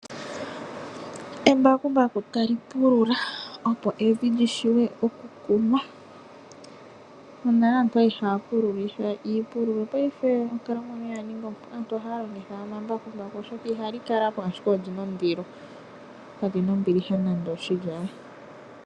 Embakumbaku tali pulula opo evi li vulwe okukunwa. Monale aantu oyali haya pululitha iipululo, paife onkalamwenyo oya ninga ompu. Aantu ohaya longitha omambakumbaku oshoka ihali kala po, ashike olina ondilo. Kali na ombiliha nande oshili aawe.